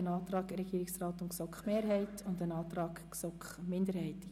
Es liegt ein Antrag Regierungsrat und GSoK-Mehrheit vor sowie ein Antrag GSoK-Minderheit.